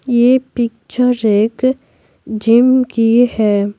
यह पिक्चर एक जिम की है।